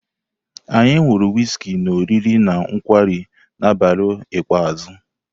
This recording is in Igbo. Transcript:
Anyị ṅụrụ wịzkị na oriri na nkwarị na abalị ikpeazụ.